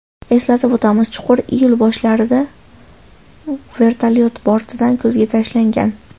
Eslatib o‘tamiz , chuqur iyul boshlarida vertolyot bortidan ko‘zga tashlangan.